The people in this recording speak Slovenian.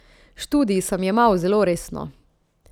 Študij sem jemal zelo resno.